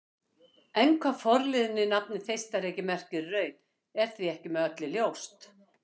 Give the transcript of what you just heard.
En hvað forliðurinn í nafninu Þeistareykir merkir í raun er því ekki með öllu ljóst.